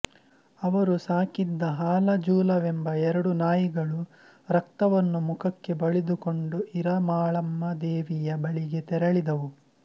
ಅವರು ಸಾಕಿದ್ದ ಹಾಲಜೂಲಎಂಬ ಎರಡು ನಾಯಿಗಳು ರಕ್ತವನ್ನು ಮುಖಕ್ಕೆಬಳಿದುಕೊಂಡು ಈರ ಮಾಳಮ್ಮ ದೇವಿಯ ಬಳಿಗೆ ತೆರಳಿದವು